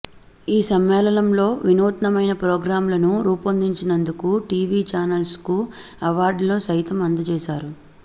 ఈ సమ్మేళనంలో వినూత్నమైన ప్రోగ్రామ్లను రూపొందించినందుకు టీవీ చానళ్లకు అవార్డులను సైతం అందజేశారు